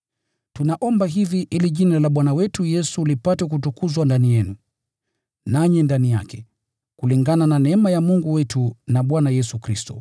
Tunaomba hivi ili Jina la Bwana wetu Yesu lipate kutukuzwa ndani yenu, nanyi ndani yake, kulingana na neema ya Mungu wetu na Bwana Yesu Kristo.